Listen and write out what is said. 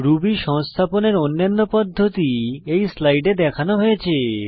Ruby সংস্থাপনের অন্যান্য পদ্ধতি এই স্লাইডে দেখানো হয়েছে